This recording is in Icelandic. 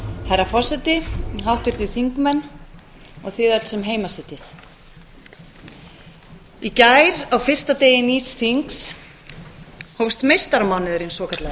herra forseti háttvirtir þingmenn og þið öll sem heima sitjið í gær á fyrsta degi nýs þings hófst meistaramánuðurinn svokallaði